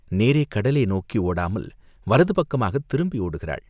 நேரே கடலே நோக்கி ஓடாமல் வலதுபக்கமாகத் திரும்பி ஓடுகிறாள்!